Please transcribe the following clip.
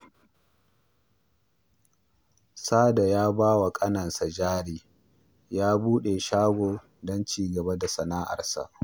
Sada ya ba wa ƙaninsa jari ya buɗe shago don ci gaba da sana'arsa